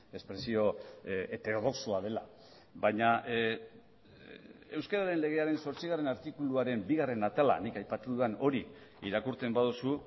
espresio heterodoxoa dela baina euskararen legearen zortzigarren artikuluaren bigarren atalean nik aipatu dudan hori irakurtzen baduzu